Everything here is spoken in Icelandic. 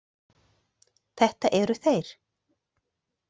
Þetta eru þeir.